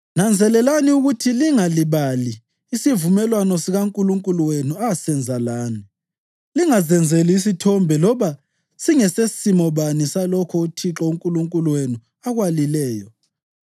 Nanzelelani ukuthi lingalibali isivumelwano sikaNkulunkulu wenu asenza lani; lingazenzeli isithombe loba singesesimo bani salokho uThixo uNkulunkulu wenu akwalileyo.